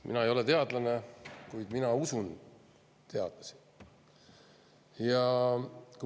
Mina ei ole teadlane, kuid ma usun teadlasi.